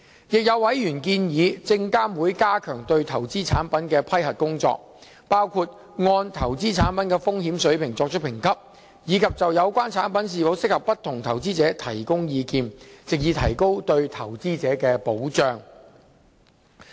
亦有委員建議證監會加強對投資產品的批核工作，包括按投資產品的風險水平作出評級，以及就有關產品是否適合不同的投資者提供意見，藉以提高對投資者的保障。